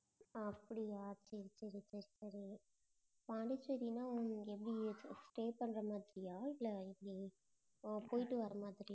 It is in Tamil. அப்படியா சரி சரி சரி சரி பாண்டிச்சேரின்னா உங்களுக்கு எப்படி stay பண்ற மாதிரியா இல்லை எப்படி அஹ் போயிட்டு வர மாதிரியா